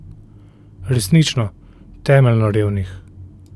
Resnično, temeljno revnih.